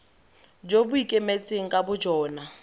jo bo ikemetseng ka bojona